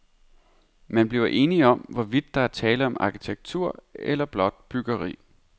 Man bliver enige om, hvorvidt der er tale om arkitektur eller blot byggeri.